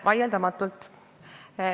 Vaieldamatult.